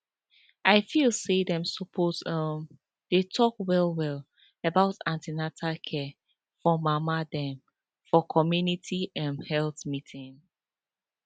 i feel say dem suppose um dey talk well well about an ten atal care for mama dem for community em health meeting